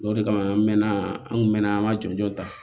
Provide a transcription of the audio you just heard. O de kama an mɛ na an kun mɛn'an ma joona